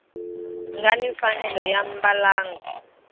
nga ni mfanelo ya mbalango